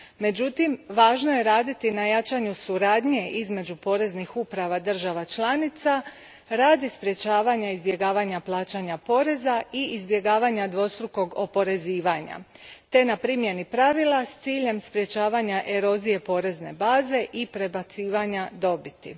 Međutim, važno je raditi na jačanju suradnje između poreznih uprava država članica radi sprječavanja izbjegavanja plaćanja poreza i izbjegavanja dvostrukog oporezivanja te na primjeni pravila s ciljem sprječavanja erozije porezne baze i prebacivanja dobiti.